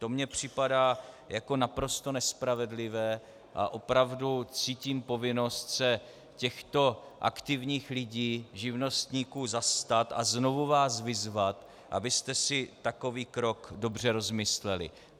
To mi připadá jako naprosto nespravedlivé a opravdu cítím povinnost se těchto aktivních lidí, živnostníků, zastat a znovu vás vyzvat, abyste si takový krok dobře rozmysleli.